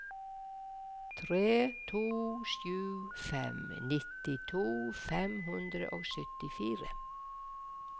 tre to sju fem nittito fem hundre og syttifire